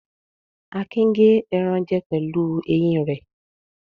Akin gé ẹran jẹ pẹ̀lú eyín rẹ̀.